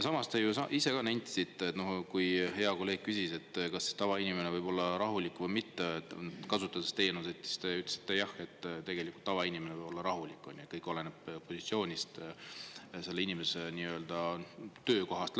Samas, te ise ju ka nentisite – kui hea kolleeg küsis, kas tavainimene võib olla rahulik või mitte, kui ta kasutab teatud teenuseid –, et jah, tavainimene võib olla rahulik, kõik oleneb positsioonist, selle inimese töökohast.